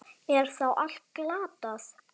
Er þá allt glatað?